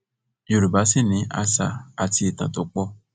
yorùbá sì ni àṣà àti ìtàn tó pọ